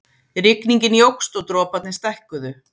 Rigningin jókst og droparnir stækkuðu.